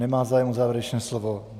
Nemá zájem o závěrečné slovo.